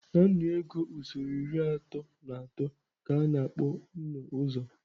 Na nnu ego usoro iri atọ na atọ ka a na-akpọ nnụ-uzo.